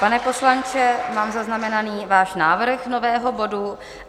Pane poslanče, mám zaznamenaný váš návrh nového bodu.